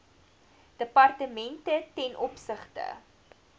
departemente ten opsigte